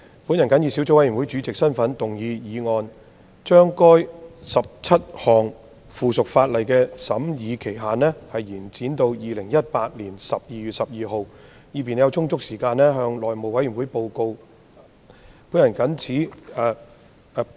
本人謹以小組委員會主席身份動議議案，將該17項附屬法例的修訂期限延展至2018年12月12日的立法會會議，以便小組委員會有充足時間向內務委員會報告審議工作。